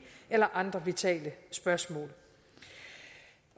eller andre vitale spørgsmål